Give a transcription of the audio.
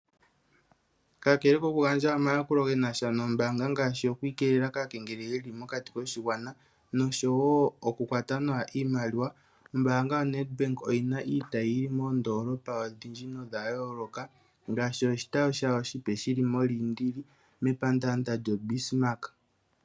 Kakele kokugandja omayakulo ge na sha nombaanga ngaashi oku ikeelela kaakengeleli ye li mokati koshigwana noshowo okukwata nawa iimaliwa, ombaanga yaNedbank oyi na oshitayi moondoolopa odhindji nodha yooloka ngaashi oshitayi shawo oshipe shi li mOliindili mepandaanda lyoBismark.